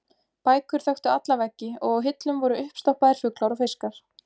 Bækur þöktu alla veggi og á hillum voru uppstoppaðir fuglar og fiskar.